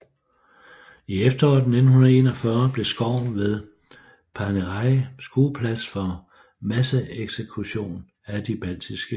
I efteråret 1941 blev skoven ved Paneriai skueplads for masseeksekution af de baltiske jøder